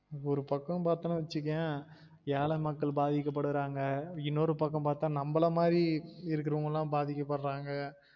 ஒரு பக்கம் பாத்தோம்னு வச்சிக்கொயன் ஏல மக்கள் பாதிக்க படுறாங்க இன்னொரு பக்கம் பாத்தா நம்மள மாதிரி இருக்குரவங்கலம் பாதிக்க படுறாங்க